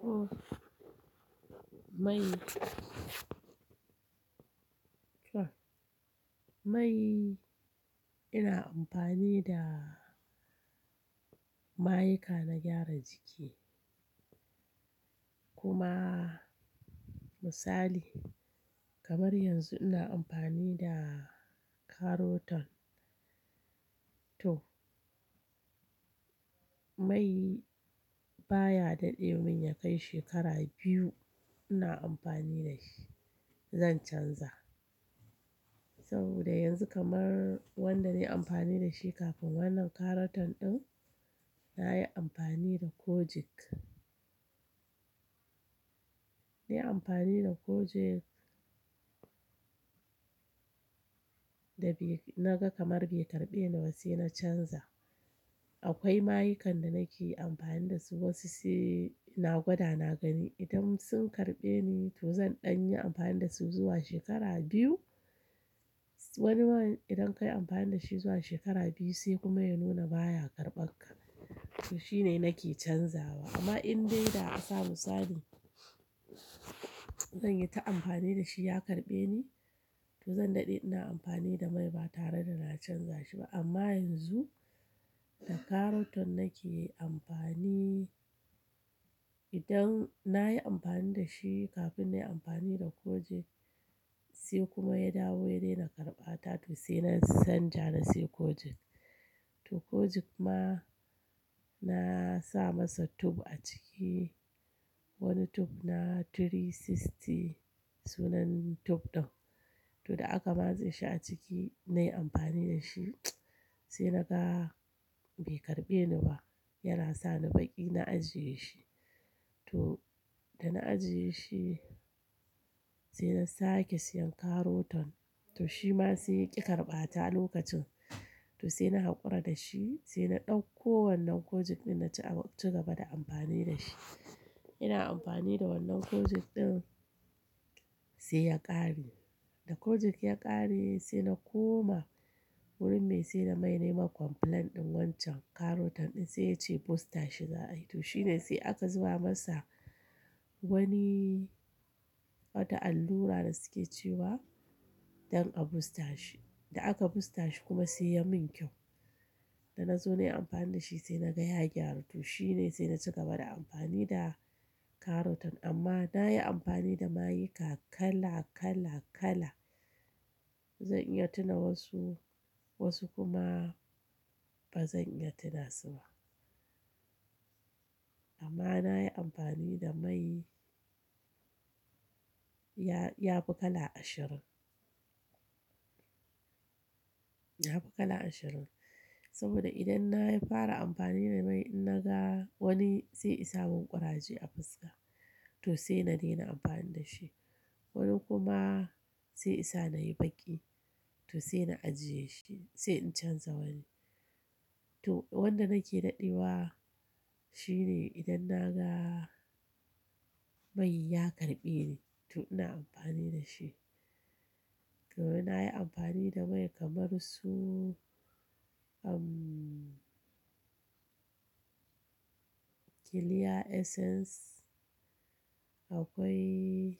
To, mai. To, mai ina amfani da mayuka na gyara jiki. Kuma misali kamar yanzu ina amfani da Carotan. To, mai baya daɗe mun ya kai shekara biyu ina amfani da shi. Zan canza saboda yanzu kamar wanda na yi amfani da shi kafin wannan Carotan ɗin, na yi amfani da Kojic. Na yi amfani da Kojic da na ga kamar bai karɓe ni ba sai na canza. Akwai mayukan da nake amfani da su wasu sai na gwada na gani idan sun karɓe ni to zan ɗan yi amfani da su zuwa shekara biyu. Wani idan ka yi amfani da shi zuwa shekara biyu sai kuma ya nuna baya karɓar ka. To shine nake canzawa amma in dai da asa misali zan yi ta amfani da shi ya karɓe ni to zan daɗe ina amfani da mai ba tare da na canza shi ba. Amma yanzu da Carotan nake amfani, idan na yi amfani da shi kafin na yi amfani da Kojic sai kuma ya dawo ya daina karɓa ta to sai na canja na sayi Kojic. To Kojic ma na sa masa tub a ciki. Wani tub na 360 sunan tub ɗin. To da aka matse shi a ciki na yi amfani da shi sai na ga bai karɓe ni ba yana sa ni baki na ajiye shi. To da na ajiye shi sai na sake siyan Carotan. To shi ma sai ya ƙi karɓata lokacin. To sai na haƙura da shi sai na ɗauko wannan Kojic ɗin na ci gaba da amfani da shi. Ina amfani da wannan Kojic ɗin sai ya ƙare. Da Kojic ya ƙare sai na koma wurin mai sai na mai nema complaint ɗin wancan Carotan ɗin sai ya ce booster shi za ayi. To shine sai aka zuba masa wani wata allura da suke cewa don a booster shi. Da aka booster shi kuma sai ya min kyau. Da na zo na yi amfani da shi sai na ga ya gyaru. To shine sai na ci gaba da amfani da Carotan amma na yi amfani da mayuka kala kala kala. Zan iya tuna wasu wasu kuma ba zan iya tuna su ba. Amma na yi amfani da mai ya fi kala ashirin. Ya fi kala ashirin saboda idan na fara amfani da mai idan na ga wani sai isa mun ƙuraje a fuska to sai na daina amfani da shi. Wani kuma sai isa na yi baki to sai na ajiye shi sai in canza wani. To wanda nake daɗewa shine idan na ga mai ya karɓe ni to ina amfani da shi. To ina yi amfani da mai kamar su, umm, Clear Essence. Akwai,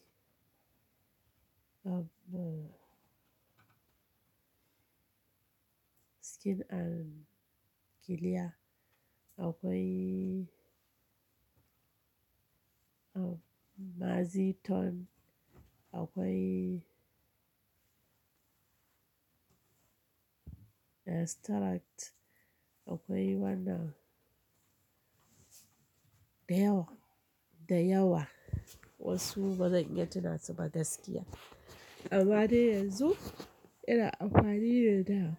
umm, Skin and Clear. Akwai, umm, Maziton. Akwai Nestalact. Akwai wannan da yawa, da yawa. Wasu ba zan iya tuna su ba gaskiya. Amma dai yanzu ina amfani ne da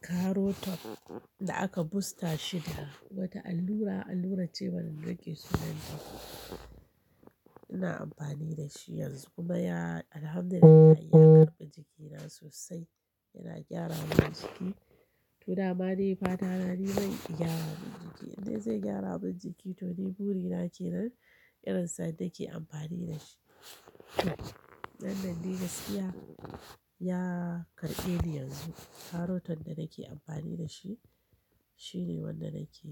Carotan da aka booster shi da wata allura, allura ce wannan da ke sunan tub. Ina amfani da shi yanzu kuma ya, Alhamdulillah ya karɓi jikina sosai. Yana gyara mun jiki. To da ma dai fata na ni man ya gyara mun jiki. Indai zai gyara mun jiki to ni buri na ke nan irin sa'ada nake amfani da shi. Wannan dai gaskiya ya karɓe ni yanzu. Carotan da nake amfani da shi shine wanda nake.